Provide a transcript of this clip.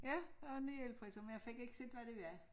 Ja der var nye elpriser men jeg fik ikke set hvad de var